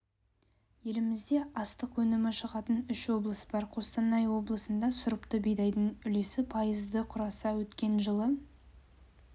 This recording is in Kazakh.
елімізде астық өнімі шығатын үш облыс бар қостанай облысында сұрыпты бидайдың үлесі пайызды құраса өткен жылы